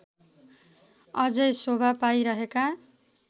अझै शोभा पाइरहेका